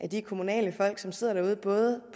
de kommunale folk som sidder derude både